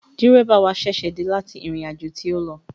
Dẹ́ríbà wa ṣẹ̀ṣẹ̀ dé láti ìrìnàjò tí ó lọ